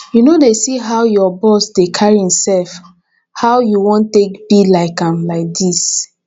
you no dey see how your boss dey carry himself how you wan take be like am like dis